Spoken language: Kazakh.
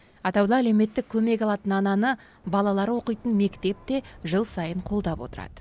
атаулы әлеуметтік көмек алатын ананы балалары оқитын мектеп те жыл сайын қолдап отырады